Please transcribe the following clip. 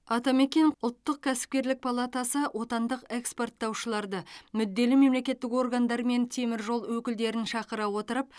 атамекен ұлттық кәсіпкерлік палатасы отандық экспорттаушыларды мүдделі мемлекеттік органдар мен темір жол өкілдерін шақыра отырып